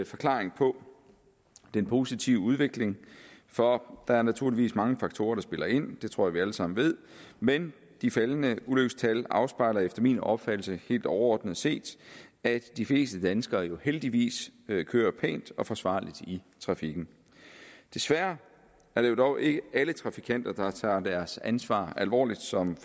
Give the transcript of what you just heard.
forklaring på den positive udvikling for der er naturligvis mange faktorer der spiller ind det tror jeg vi alle sammen ved men de faldende ulykkestal afspejler efter min opfattelse helt overordnet set at de fleste danskere jo heldigvis kører pænt og forsvarligt i trafikken desværre er det dog ikke alle trafikanter der tager deres ansvar alvorligt som